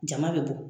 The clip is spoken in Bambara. Jama bɛ bɔ